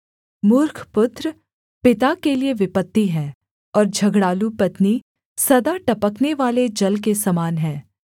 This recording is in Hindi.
मूर्ख पुत्र पिता के लिये विपत्ति है और झगड़ालू पत्नी सदा टपकने वाले जल के समान हैं